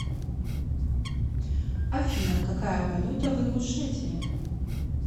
афина какая валюта в ингушетии